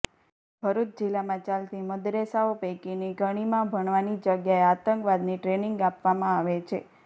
ભરૂચ જિલ્લામાં ચાલતી મદ્રેસાઓ પૈકીની ઘણીમાં ભણવાની જગ્યાએ આતંકવાદની ટ્રેનીંગ આપવામાં આવે છે